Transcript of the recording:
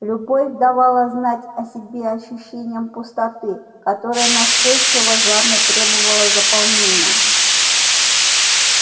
любовь давала знать о себе ощущением пустоты которая настойчиво жадно требовала заполнения